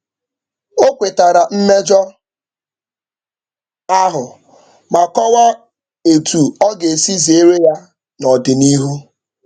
O kwetara mmejọ ahụ ma kọwaa etu ọ ga-esi zeere ya n'ọdịnihu.